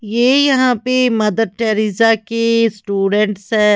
ये यहां पे मदर टेरेसा के स्टूडेंट्स है।